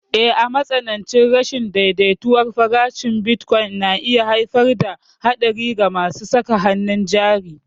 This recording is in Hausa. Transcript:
Eh, matsanancin rashin daidaituwar farashin bitcoin na iya haifar da haɗari ga masu saka hannun jari.